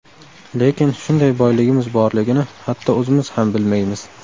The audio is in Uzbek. Lekin shunday boyligimiz borligini hatto o‘zimiz ham bilmaymiz.